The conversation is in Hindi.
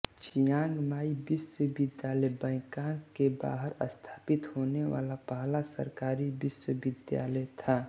चिआंग माई विश्वविद्यालय बैंकॉक के बाहर स्थापित होने वाला पहला सरकारी विश्वविद्यालय था